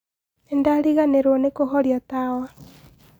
Nĩndariganĩrwo nĩ kũhoria tawa